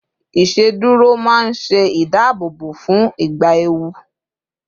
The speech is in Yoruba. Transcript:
iṣeduro ma n se ìdáàbòbò fún ìgbà ewu